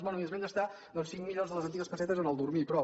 bé i es van gastar doncs cinc milions de les antigues pessetes a dormir i prou